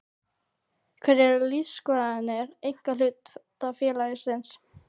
Hverjar eru lífsskoðanir einkahlutafélags?